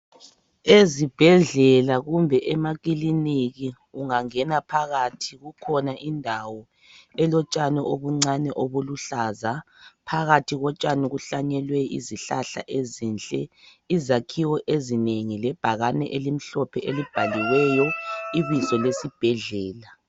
Ezibhedlela kumbe emakiliniki ,ungangena phakathi kukhona indawo elotshani obuncani obuluhlaza. Phakathi kotshani kuhlanyelwe izihlahla ezinhle, izakhiwo ezinengi .Lebhakani elimhlophe elibhaliweyo ibizo lesibhedlela.